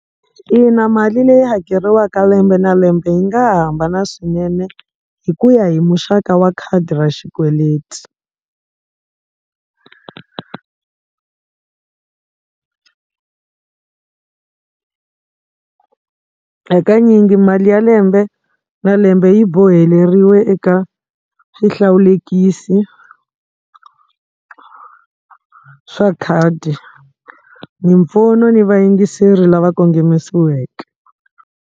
Ina mali leyi hakeriwaka lembe na lembe yi nga hambana swinene hi ku ya hi muxaka wa khadi ra xikweleti hakanyingi mali ya lembe na lembe yi boheleriwe eka swihlawulekisi swa khadi mimpfuno ni vayingiseri lava kongomisiweke.